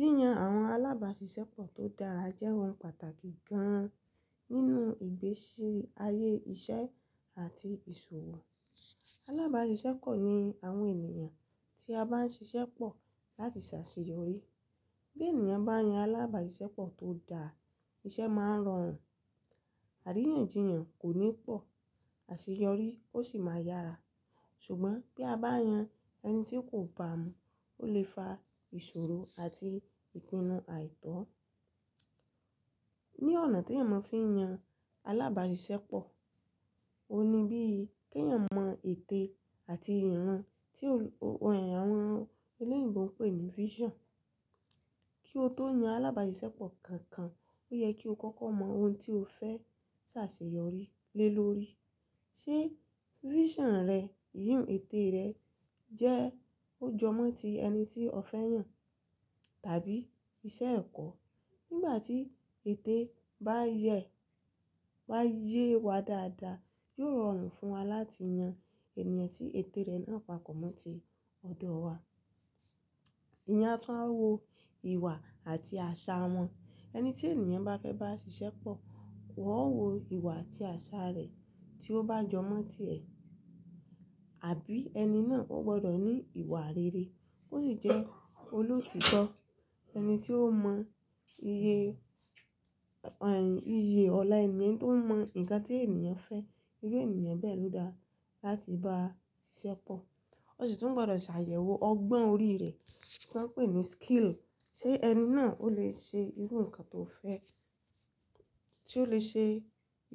Yíyan àwọn alábàáṣiṣẹ́ pọ̀ tó dára jẹ́ ohun pàtàkì gan-an nínú ìgbésí ayé iṣẹ́ àti ìṣòwò. Alábàáṣiṣẹ́ pọ̀ ni àwọn ènìyàn tí a bá ń ṣiṣẹ́ pọ̀ láti ṣàṣeyọrí. Bí ènìyàn bá yan alábàáṣiṣẹ́ pọ̀ tó dára, iṣẹ́ máa rọrùn, àríyànjiyàn kò ní pọ̀, àṣeyọrí ó sì máa yára. Ṣùgbọ́n bí a bá yan ẹni tí kò bá mu, ó lè fa ìṣòro àti ìpinnu àìtọ́. Ni ọ̀nà tí ènìyàn mó fi ń yan alábàáṣiṣẹ́ pọ̀, ó ní bí i kí ènìyàn mọ ète àti ìran, tí òrò, òrò àwọn eléèyinbo pè ní vision. Kí o tó yan alábàáṣiṣẹ́ pọ̀ kankan, ó yẹ kí o kọ́kọ́ mọ ohun tí o fẹ́ ṣàṣeyọrí lé lórí. Ṣé vision rẹ, yìín ète rẹ jẹ́ ó jọ mọ́ ti ẹni tí o fẹ́ yàn, tàbí iṣẹ́ ẹ̀kọ́. Nígbà tí ète bá yẹ, bá yé wa dáadáa, yóò rọrùn fún wa láti yan ènìyàn tí ète rẹ̀ náà papọ́ mọ́ ti ọ̀dọ̀ wa. Eyan àtunwa wo ìwà àti àṣà wọn. Ẹni tí ènìyàn bá fẹ́ bá ṣiṣẹ́ pọ̀, ó wọ̀ wọ ìwà àti àṣà rẹ̀ tí ó bá jọ mọ́ ti ẹ. Àbí ẹni náà ó gbọdọ̀ ní ìwà rere, ó sì jẹ́ olótítọ́, ẹni tí ó mọ iye, iye ọlá ènìyàn tó mọ ǹkan tí ènìyàn fẹ́, irú ènìyàn bẹ́ẹ̀ ló dáa láti bá ṣiṣẹ́ pọ̀. Ó sì tún gbọdọ̀ ṣàyẹ̀wò ọgbọ́n orí rẹ̀, tí wọ́n ń pè ní skill. Ṣé ẹni náà ó lè ṣe irú nǹkan tó fẹ́, tí ó lè ṣe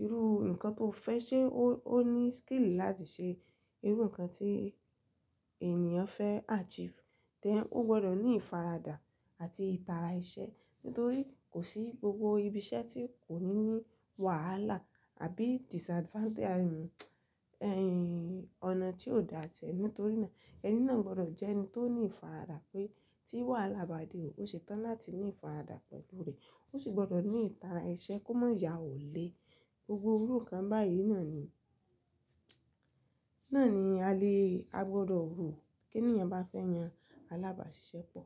irú nǹkan tó fẹ́, ṣe ó, ó ní skill láti ṣe irú nǹkan tí ènìyàn fẹ́ achieve. Tẹ́ ó gbọdọ̀ ní ìfaradà àti ìtara iṣẹ́. Nítorí kò sí gbogbo ibi iṣẹ́ tí kò ní ní wàhálà àbí disadvantage, iye ọ̀nà tí ò dáa tẹ́lẹ̀. Nítorí náà ẹni náà gbọdọ̀ jẹ́ ẹni tó ní ìfaradà pé tí wàhálà bá dé òsetan, láti ní ìfaradà pẹ̀lú rẹ̀. Ó sì gbọdọ̀ ní ìtara iṣẹ́ kó má ya òle. Gbogbo irú nǹkan báyìí náà ni, náà ni a lè, a gbọdọ̀ rò kí ènìyàn bá fẹ́ yan alábàáṣiṣẹ́ pọ̀.